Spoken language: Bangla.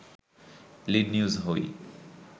লিড নিউজ হই